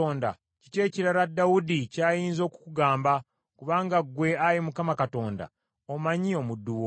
“Kiki ekirala Dawudi kyayinza okukugamba, kubanga ggwe, Ayi Mukama Katonda omanyi omuddu wo.